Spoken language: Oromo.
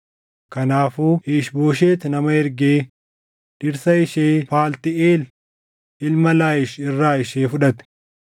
Kanaafuu Iish-Booshet nama ergee dhirsa ishee Phaltiiʼeel ilma Laayish irraa ishee fudhate.